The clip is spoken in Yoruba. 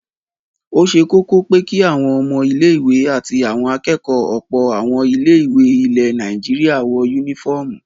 Ó ṣe kọ́kọ́ pé kí àwọn ọmọ ilé-ìwé àti àwọn akẹ́kọ̀ọ́ ọ̀pọ̀ àwọn ilé-ìwé ilẹ̀ Nàìjíríà wọ únífọ́ọ́mù.